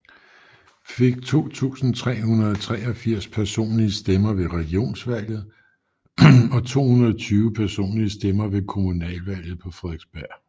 Fik 2383 personlige stemmer ved Regionsvalget og 220 personlige stemmer ved kommunalvalget på Frederiksberg